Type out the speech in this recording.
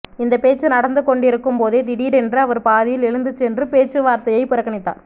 இந்த பேச்சு நடந்து கொண்டிருக்கும் போதே திடீரென்று அவர் பாதியில் எழுந்து சென்று பேச்சுவார்த்தையை புறக்கணித்தார்